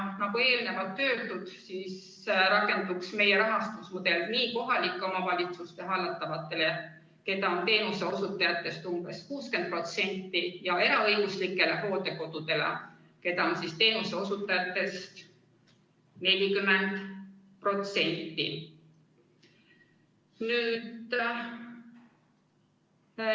Nagu eelnevalt öeldud, rakenduks meie rahastusmudel nii kohalike omavalitsuste hallatavatele, keda on teenuseosutajatest umbes 60%, kui ka eraõiguslikele hooldekodudele, mida on teenuseosutajatest 40%.